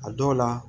A dɔw la